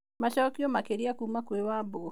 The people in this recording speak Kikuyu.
Macokio makĩrĩa kuma kwĩ Wambugũ.